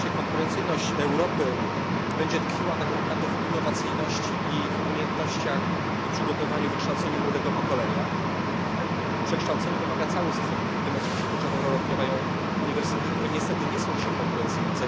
I faktycznie konkurencyjność Europy będzie tkwiła tak naprawdę w innowacyjności i w umiejętnościach i przygotowaniu, wykształceniu młodego pokolenia. Cały system wymaga przekształcenia, w tym oczywiście kluczową rolę odgrywają uniwersytety, które niestety nie są dzisiaj konkurencyjne.